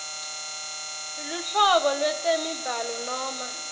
luhlobo lwetemibhalo noma